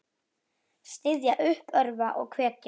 Styðja, uppörva og hvetja.